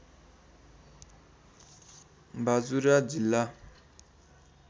बाजुरा जिल्ला